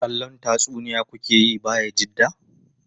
Kallon tatsuniya ku ke yi Bayajidda?